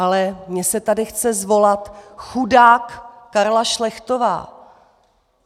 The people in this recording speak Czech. Ale mně se tady chce zvolat: Chudák Karla Šlechtová!